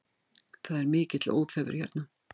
Það er mikill óþefur hérna